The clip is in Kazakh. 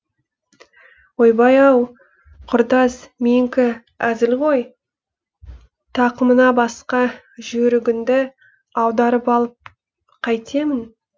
ойбай ау құрдас менікі әзіл ғой тақымыңа басқа жүйрігіңді аударып алып қайтемін